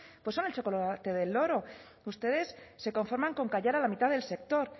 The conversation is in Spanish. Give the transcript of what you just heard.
pues son el chocolate del oro ustedes se conforman con callar a la mitad del sector